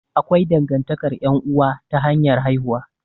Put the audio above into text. Akwai dangantakar ƴan'uwa ta hanyar haihuwa.